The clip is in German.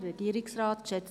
Kommissionssprecherin